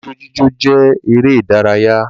Ijó jíjó jẹ́ eré ìdárayá